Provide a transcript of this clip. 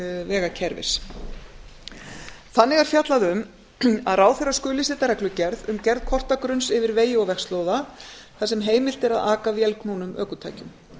vegakerfis þannig er fjallað um að ráðherra skuli setja reglugerð um gerð kortagrunns yfir vegi og vegslóða þar sem heimilt er að aka vélknúnum ökutækjum